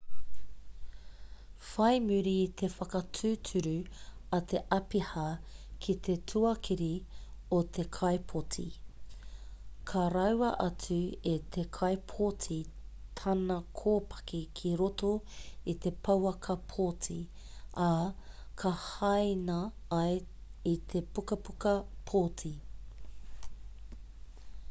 whai muri i te whakatūturu a te āpiha ki te tuakiri o te kaipōti ka raua atu e te kaipōti tana kōpaki ki roto i te pouaka pōti ā ka hāina ai i te pukapuka pōti